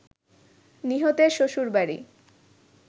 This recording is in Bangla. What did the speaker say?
নিহতের শ্বশুরবাড়ি